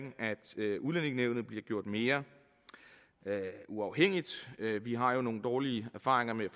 udlændingenævnet bliver gjort mere uafhængigt vi har jo nogle dårlige erfaringer med